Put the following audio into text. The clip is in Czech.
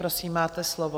Prosím, máte slovo.